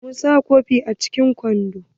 Mun sa kofin a cikin kwando.